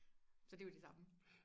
så det er jo det samme